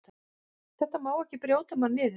Þetta má ekki brjóta mann niður.